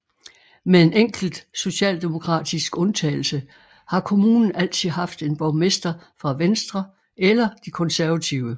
Med en enkelt socialdemokratisk undtagelse har kommunen altid haft en borgmester fra Venstre eller de Konservative